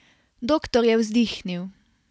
Doktor je vzdihnil.